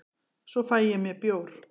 svo fæ ég mér bjór